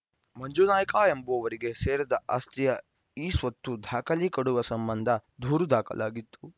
ಮಂಜುನಾಯ್ಕ ಎಂಬುವರಿಗೆ ಸೇರಿದ ಆಸ್ತಿಯ ಇ ಸ್ವತ್ತು ದಾಖಲೆ ಕೊಡುವ ಸಂಬಂಧ ದೂರು ದಾಖಲಾಗಿತ್ತು